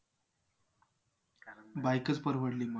Bike च परवडली मग